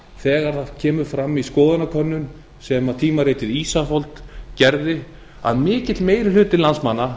þegar kemur fram í skoðanakönnun sem tímaritið ísafold gerði að mikil meiri hluti landsmanna